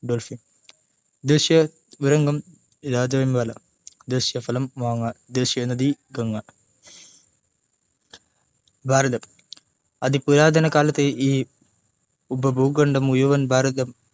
ദേശിയ ഉരഗം രാജവെമ്പാല ദേശിയ ഫലം മാങ്ങ ദേശിയ നദി ഗംഗ ഭാരതം അതുപുരാതന കാലത്തു ഈ ഉപഭൂഖണ്ഡം മുഴുവൻ ഭരതൻ